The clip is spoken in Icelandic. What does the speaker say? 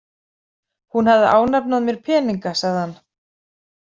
Hún hafði ánafnað mér peninga, sagði hann.